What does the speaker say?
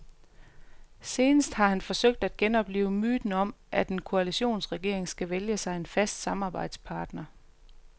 Senest har han forsøgt at genoplive myten om, at en koalitionsregering skal vælge sig en fast samarbejdspartner.